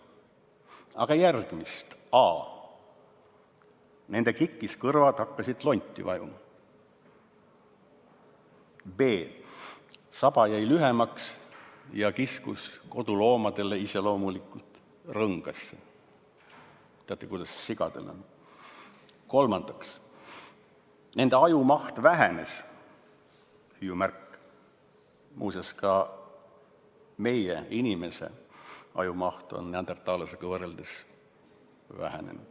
Aga järgmist: a) kikkis kõrvad hakkasid lonti vajuma; b) saba jäi lühemaks ja kiskus rõngasse ; c) ajumaht vähenes .